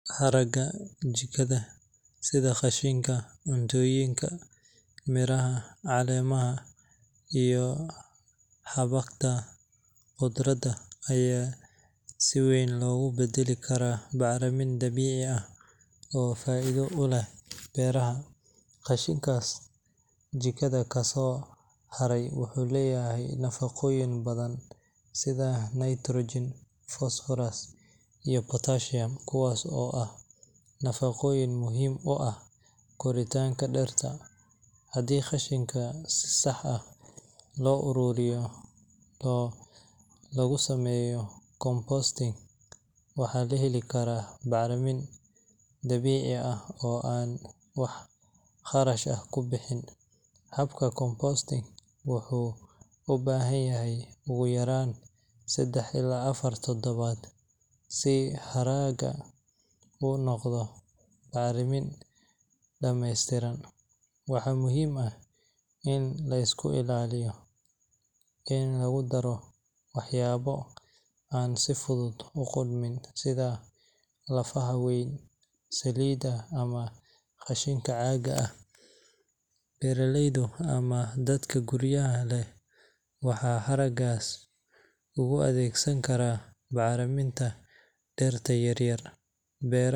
Haraaga jikada sida qashinka cuntooyinka, miraha, caleemaha iyo xabagta khudradda ayaa si weyn loogu beddeli karaa bacrimin dabiici ah oo faa’iido u leh beeraha. Qashinkaas jikada kasoo haray wuxuu leeyahay nafaqooyin badan sida nitrogen, phosphorus iyo potassium kuwaas oo ah nafaqooyin muhiim u ah koritaanka dhirta. Haddii qashinka si sax ah loo ururiyo oo lagu sameeyo composting, waxaa la heli karaa bacrimin dabiici ah oo aan wax kharash ah ku bixin. Habka composting wuxuu u baahan yahay ugu yaraan saddex ilaa afar toddobaad si haraaga u noqdo bacrimin dhameystiran. Waxaa muhiim ah in la iska ilaaliyo in lagu daro waxyaabo aan si fudud u qudhmin sida lafaha weyn, saliidaha ama qashinka caagga ah. Beeraleyda ama dadka guryaha leh waxay haraagaas ugu adeegsan karaan bacriminta dhirta yaryar.